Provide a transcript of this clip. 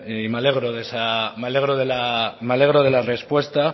y me alegro de la respuesta